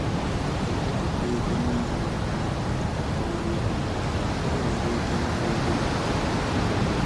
Ọ na edepụta ego n'ile o mefuru maka ọrụ ugbo ya ka o nwere ike mara ego batara na nke pụrụ